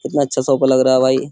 कितना अच्छा शॉप लग रहा है भाई।